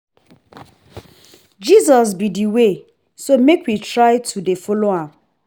Jesus be the only way so make we try to dey follow am